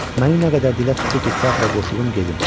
Məni nə qədər dilə tutdu ki, teatra qoşulub gedim.